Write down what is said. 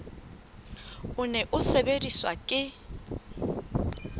o ne o sebediswa ke